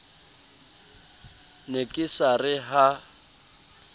ne ke sa re ha